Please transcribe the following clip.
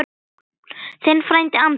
Þinn frændi Andri.